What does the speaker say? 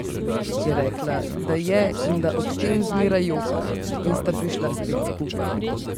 Je rekla, da je in da ob tem zmeraj joka, in sta prišla spet skupaj.